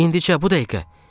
İndicə, bu dəqiqə.